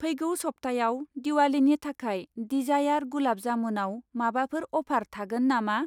फैगौ सबथायाव दिवालीनि थाखाय दिजायार गुलाब जामुनआव माबाफोर अफार थागोन नामा?